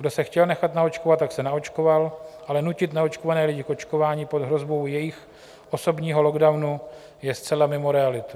Kdo se chtěl nechat naočkovat, tak se naočkoval, ale nutit neočkované lidí k očkování pod hrozbou jejich osobního locdownu je zcela mimo realitu.